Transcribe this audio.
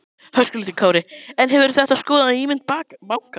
Höskuldur Kári: En hefur þetta skaðað ímynd bankans?